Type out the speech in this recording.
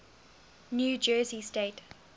new jersey state